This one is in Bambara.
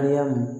Aliya mun